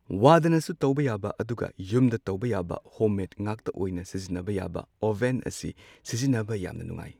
ꯋꯥꯗꯅꯁꯨ ꯇꯧꯕ ꯌꯥꯕ ꯑꯗꯨꯒ ꯌꯨꯝꯗ ꯇꯧꯕ ꯌꯥꯕ ꯍꯣꯝ ꯃꯦꯗ ꯉꯥꯛꯇ ꯑꯣꯏꯅ ꯁꯤꯖꯤꯟꯅꯕ ꯌꯥꯕ ꯑꯣꯚꯦꯟ ꯑꯁꯤ ꯁꯤꯖꯤꯟꯅꯕ ꯌꯥꯝꯅ ꯅꯨꯡꯉꯥꯏ꯫